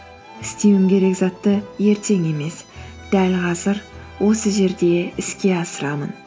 істеуім керек затты ертең емес дәл қазір осы жерде іске асырамын